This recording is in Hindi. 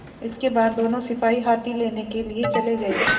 इसके बाद दोनों सिपाही हाथी लेने के लिए चले गए